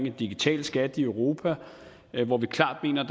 en digital skat i europa hvor vi klart mener